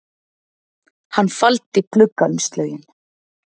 Hann faldi gluggaumslögin